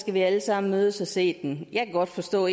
vi alle sammen mødes og se den jeg kan godt forstå